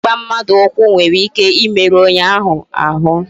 Igba mmadụ ụkwụ nwere ike imeru onye ahụ ahụ